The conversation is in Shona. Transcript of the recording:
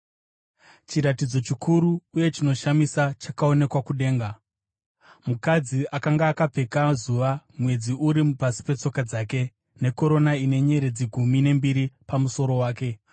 Chiratidzo chikuru uye chinoshamisa chakaonekwa kudenga: mukadzi akanga akapfeka zuva, mwedzi uri pasi petsoka dzake, nekorona ine nyeredzi gumi nembiri pamusoro wake.